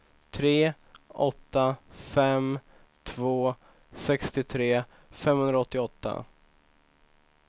tre åtta fem två sextiotre femhundraåttioåtta